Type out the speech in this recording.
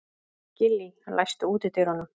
Gillý, læstu útidyrunum.